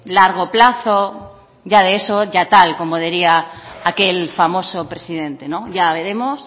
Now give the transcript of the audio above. largo plazo ya de eso como diría aquel famoso presidente ya veremos